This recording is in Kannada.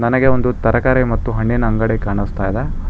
ನನಗೆ ಒಂದು ತರಕಾರಿ ಮತ್ತು ಹಣ್ಣಿನ ಅಂಗಡಿ ಕಾಣಿಸ್ತಾ ಇದೆ.